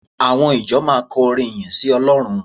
Àwọn ìjọ máa kọ orin ìyìn sí Ọlọ́run